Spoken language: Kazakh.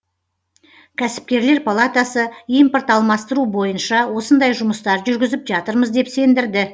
кәсіпкерлер палатасы импорт алмастыру бойынша осындай жұмыстар жүргізіп жатырмыз деп сендірді